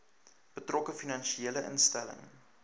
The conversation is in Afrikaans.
betrokke finansiële instelling